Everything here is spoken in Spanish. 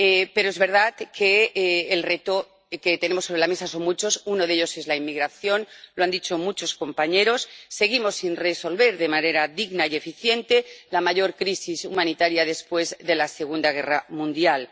Pero es verdad que los retos que tenemos sobre la mesa son muchos uno de ellos es la inmigración, lo han dicho muchos compañeros. Seguimos sin resolver de manera digna y eficiente la mayor crisis humanitaria después de la Segunda Guerra Mundial.